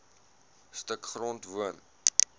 stuk grond woon